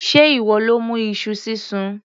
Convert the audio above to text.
Sé ìwọ ló mú iṣu sísun?